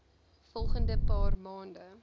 volgende paar maande